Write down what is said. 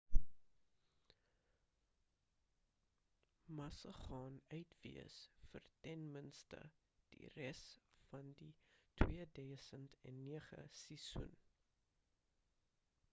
massa gaan uit wees vir ten minste die res van die 2009 seisoen